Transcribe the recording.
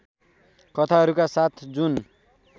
कथाहरूका साथै जुन